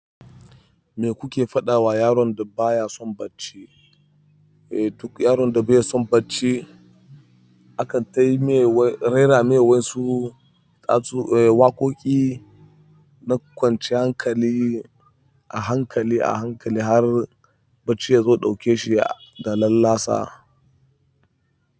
Me kuke faɗa wa yaron da baya son bacci? Duk yaron da baya son bacci akan rera mai wasu waƙoƙi na kwanciyar hankali a hankali a hankali har bacci yazo ya ɗauke shi da lallasa.